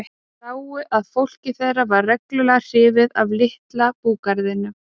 Þeir sáu að fólkið þeirra var reglulega hrifið af litla búgarðinum.